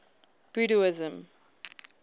buddhism